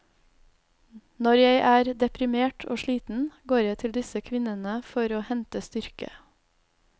Når jeg er deprimert og sliten, går jeg til disse kvinnene for å hente styrke.